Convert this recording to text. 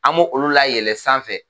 An me olu layɛlɛ sanfɛ